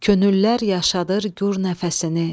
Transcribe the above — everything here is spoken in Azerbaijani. Könüllər yaşadır gur nəfəsini.